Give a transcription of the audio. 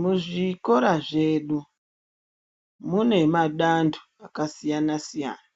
Muzvikora zvedu munemadanto akasiyana siyana